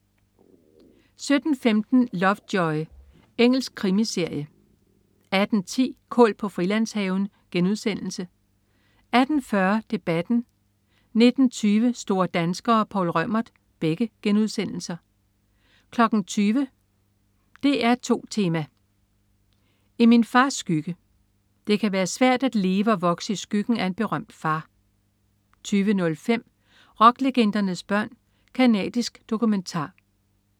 17.15 Lovejoy. Engelsk krimiserie 18.10 Kål på Frilandshaven* 18.40 Debatten* 19.20 Store danskere. Poul Reumert* 20.00 DR2 Tema: I min fars skygge. Det kan være svært at leve og vokse i skyggen af en berømt far 20.05 Rocklegendernes børn. Canadisk dokumentar